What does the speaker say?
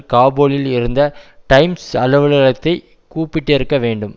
காபூலில் இருந்த டைம்ஸ் அலுவலகத்தை கூப்பிட்டிருக்க வேண்டும்